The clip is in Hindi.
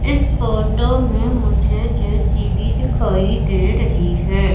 इस फोटो में मुझे जे_सी_बी दिखाई दे रही है।